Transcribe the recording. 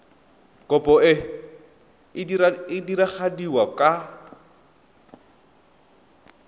kopo e e diragadiwa ka